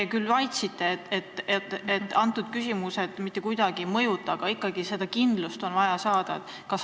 Te küll mainisite, et need küsimused seda mitte kuidagi ei mõjuta, aga ikkagi oleks vaja kindlust saada.